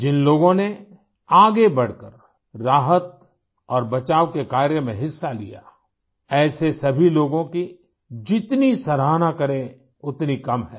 जिन लोगों ने आगे बढ़कर राहत और बचाव के कार्य में हिस्सा लिया ऐसे सभी लोगों की जितनी सराहना करें उतनी कम है